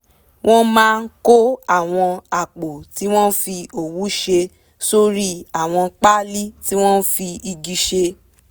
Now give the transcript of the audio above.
wọ́n máa kó àwọn àpò tí wọ́n fi òwú ṣe sórí àwọn páálí tí wọ́n fi igi ṣe